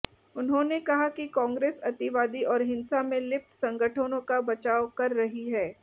उन्होंने कहा कि कांग्रेस अतिवादी और हिंसा में लिप्त संगठनों का बचाव कर रही है